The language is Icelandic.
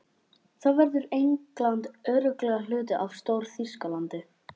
Þá verður England örugglega hluti af Stór-Þýskalandi.